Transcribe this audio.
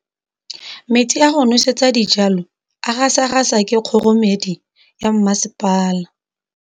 Metsi a go nosetsa dijalo a gasa gasa ke kgogomedi ya masepala.